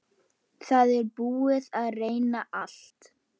Það er búið að reyna allt.